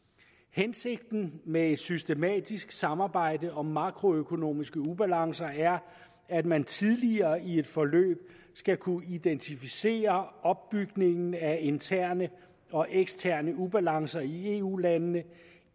hensigten med et systematisk samarbejde om makroøkonomiske ubalancer er at man tidligere i et forløb skal kunne identificere opbygningen af interne og eksterne ubalancer i eu landene